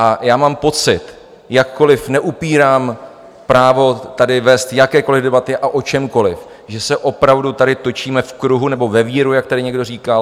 A já mám pocit, jakkoliv neupírám právo tady vést jakékoliv debaty a o čemkoliv, že se opravdu tady točíme v kruhu nebo ve víru, jak tady někdo říkal.